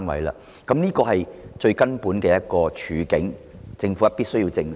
這是我們面對的根本處境，政府必須正視。